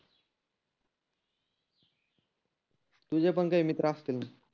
तुझे पण काही मित्र असतील.